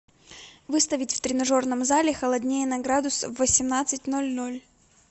выставить в тренажерном зале холоднее на градус в восемнадцать ноль ноль